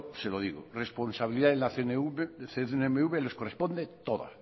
se lo digo responsabilidad en la cnmv les corresponde toda